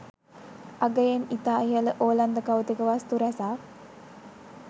අගයෙන් ඉතා ඉහල ඕලන්ද කෞතුක වස්තු රැසක්